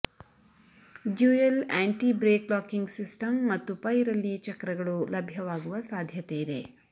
dual anti brake locking system ಮತ್ತು ಪೈರಲ್ಲಿ ಚಕ್ರಗಳು ಲಭ್ಯವಾಗುವ ಸಾಧ್ಯತೆಯಿದೆ